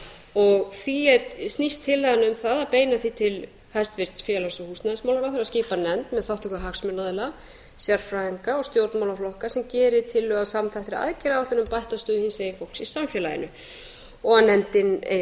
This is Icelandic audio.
og því snýst tillagan um það að beina því til hæstvirtrar félags og húsnæðismálaráðherra að skipa nefnd með þátttöku hagsmunaaðila sérfræðinga og stjórnmálaflokka sem gerir tillögu að samþættri aðgerð á bættri stöðu hinsegin fólks í samfélaginu og nefndin eigi að